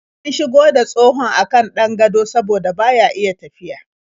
An shigo da tsohon a kan ɗan gado saboda baya iya tafiya.